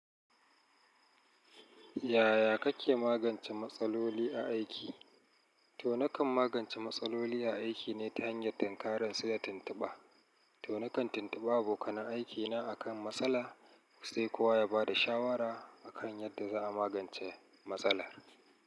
Yaya kake magance matsaloli a aiki? To na kan magance matsaloli a aiki ne ta hanyar tunkaran su da tuntuɓa. To na kan tuntuɓa abokanan aiki na akan matsala, sai kowa ya ba da shawara akan yadda za a magance matsalar.